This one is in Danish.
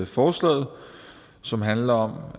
forslaget som handler om